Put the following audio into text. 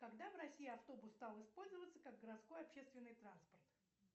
когда в россии автобус стал использоваться как городской общественный транспорт